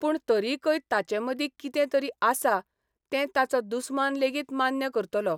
पूण तरिकय ताचे मदीं कितें तरी आसा तें ताचो दुस्मान लेगीत मान्य करतलो.